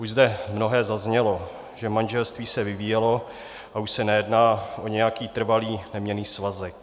Už zde mnohé zaznělo, že manželství se vyvíjelo a už se nejedná o nějaký trvalý, neměnný svazek.